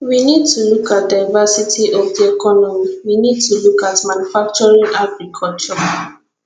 we need to look at diversity of di economy we need to look at manufacturing agriculture